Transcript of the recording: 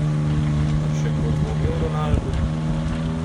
Mar še kdo dvomi o Ronaldu?